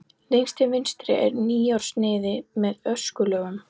Lengst til vinstri er mýrarsniðið með öskulögum.